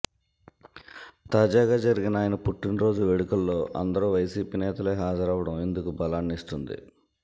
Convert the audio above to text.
తాజాగా జరిగిన ఆయన పుట్టినరోజు వేడుకల్లో అందరూ వైసీపీ నేతలే హాజరవ్వడం ఇందుకు బలాన్నిస్తోంది